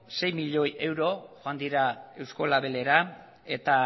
sei milioi euro joan dira eusko labelera